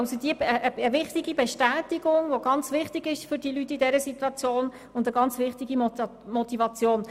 Dieser ist eine wichtige Bestätigung und Motivation für die Leute in der entsprechenden Situation.